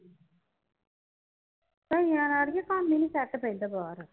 ਤਾਹਿ ਆਵਾਜ਼ ਆ ਰਾਈ ਕਿ ਮਾਮੀ ਨੂੰ ਸੈੱਟ ਪੈਂਦਾ ਬਾਹਰ